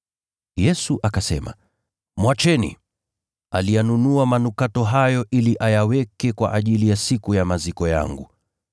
Yesu akasema, “Mwacheni. Aliyanunua manukato hayo ili ayaweke kwa ajili ya siku ya maziko yangu.